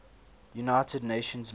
united nations mission